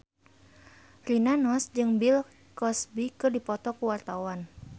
Rina Nose jeung Bill Cosby keur dipoto ku wartawan